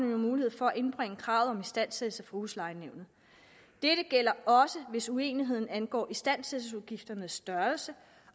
jo mulighed for at indbringe kravet om istandsættelse for huslejenævnet dette gælder også hvis uenigheden angår istandsættelsesudgifternes størrelse